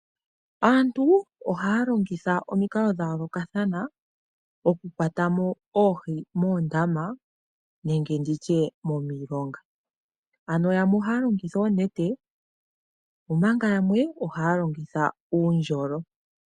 Aantu ohaya longitha omikalo dha yoolokathana okukwata mo oohi muundama nenge nditye momilonga. Ano yamwe ohaya longitha oonete omanga yamwe ohaya longitha uundjolo.